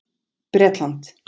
Bretland